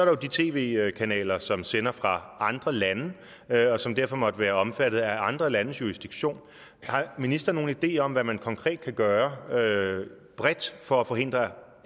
jo de tv kanaler som sender fra andre lande og som derfor måtte være omfattet af andre landes jurisdiktion har ministeren nogen idé om hvad man konkret kan gøre bredt for at forhindre